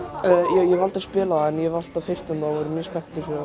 ég hef aldrei spilað það en hef alltaf heyrt um það og er mjög spenntur fyrir